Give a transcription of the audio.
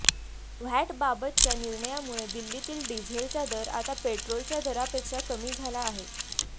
व्हॅटबाबतच्या निर्णयामुळे दिल्लीतील डिझेलचा दर आता पेट्रोलच्या दरापेक्षा कमी झाला आहे